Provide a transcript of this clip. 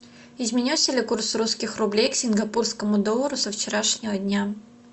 изменился ли курс русских рублей к сингапурскому доллару со вчерашнего дня